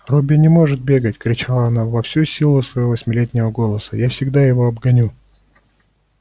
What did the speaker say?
робби не может бегать кричала она во всю силу своего восьмилетнего голоса я всегда его обгоню